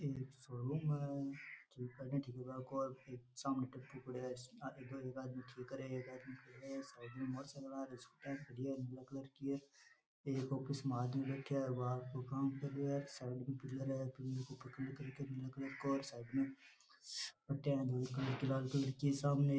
एक शोरूम है जीका सामने टैम्पो खड्यो है आगे एक आदमी ठीक करे है एक आदमी पकड़े है सामने चल रहा है एक स्कूटी है नीला कलर की एक ऑफिस है उसमें एक आदमी बैठा है वह काम कर रहा है सामने बेठ्या है लोग लाल कलर की है सामने --